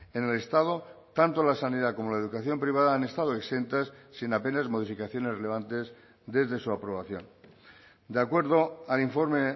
en el estado tanto la sanidad como la educación privada han estado exentas sin apenas modificaciones relevantes desde su aprobación de acuerdo al informe